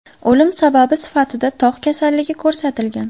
O‘lim sababi sifatida tog‘ kasalligi ko‘rsatilgan.